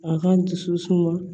A ka n dusu suma